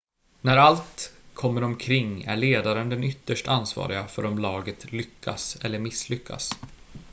när allt kommer omkring är ledaren den ytterst ansvariga för om laget lyckas eller misslyckas